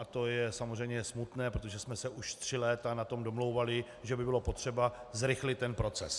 A to je samozřejmě smutné, protože jsme se už tři léta na tom domlouvali, že by bylo potřeba zrychlit ten proces.